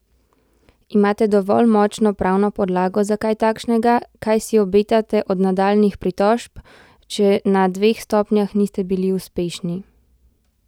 Imate dovolj močno pravno podlago za kaj takšnega, kaj si obetate od nadaljnjih pritožb, če na dveh stopnjah niste bili uspešni?